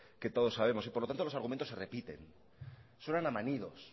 que todos sabemos y por lo tanto los argumentos se repiten suenan a manidos